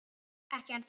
Ekki ennþá